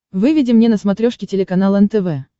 выведи мне на смотрешке телеканал нтв